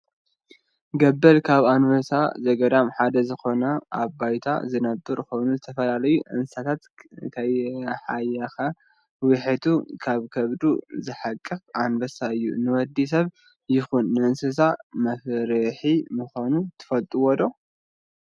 ገበል ካብ እንስሳ ዘገዳም ሓደ ዝኮነ ኣብ ባዓቲ ዝነብር ኮይኑ ዝተፈላለዩ እንስሳታት ከይሓየከ ውሒጡ ኣብ ከቡዱ ዝሕቅቅ እንስሳ እዩ። ንወዲ ሰብ ይኮን ንእንስሳ መፍርሒ ምኳኑ ትፈልጡዶ?